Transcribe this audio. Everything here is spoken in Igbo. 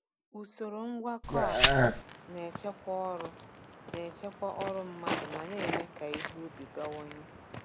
Usoro ngwakọ a na-echekwa ọrụ na-echekwa ọrụ mmadụ ma na-eme ka ihe ubi bawanye.